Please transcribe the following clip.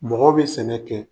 Mɔgɔw be sɛnɛ kɛ.